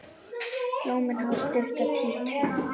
Blómin hafa stutta títu.